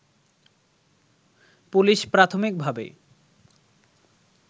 police প্রাথমিক ভাবে